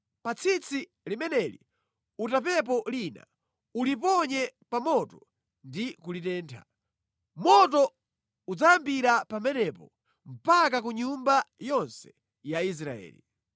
Pa tsitsi limeneli utapepo lina, uliponye pa moto ndi kulitentha. Moto udzayambira pamenepo mpaka ku nyumba yonse ya Israeli.”